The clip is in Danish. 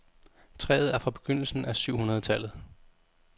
Træet er fra begyndelsen af syv hundrede tallet.